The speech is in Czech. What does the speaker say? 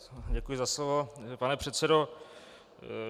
Děkuji za slovo, pane předsedo.